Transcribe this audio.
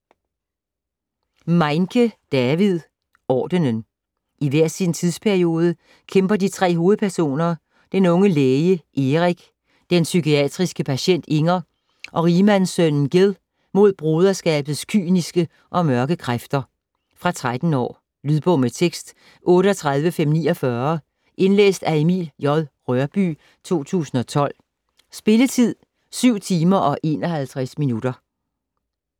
Meinke, David: Ordenen I hver sin tidsperiode kæmper de tre hovedpersoner, den unge læge Erik, den psykiatriske patient Inger og rigmandssønnen Gil mod broderskabets kyniske og mørke kræfter. Fra 13 år. Lydbog med tekst 38549 Indlæst af Emil J. Rørbye, 2012. Spilletid: 7 timer, 51 minutter.